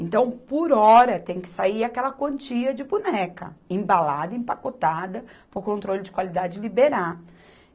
Então, por hora, tem que sair aquela quantia de boneca, embalada, empacotada, para o controle de qualidade liberar.